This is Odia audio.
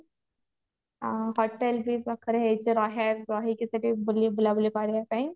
ଆଉ hotel ବି ପାଖରେ ହେଇଛି ରହିବାକୁ ରହିକି ସେଠି ବୁଲି ବୁଲାବୁଲି କରିବା ପାଇଁ